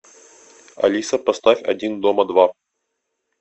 алиса поставь один дома два